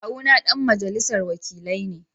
Kawuna ɗan majalisar wakilai ne